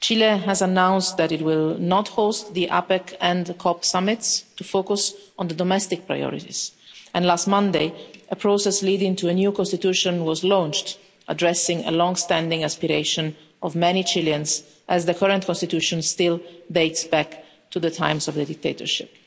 Chile has announced that it will not host the APEC and COP summits, in order to focus on the domestic priorities, and last Monday a process leading to a new constitution was launched, addressing a long-standing aspiration of many Chileans as the current constitution still dates back to the times of the dictatorship.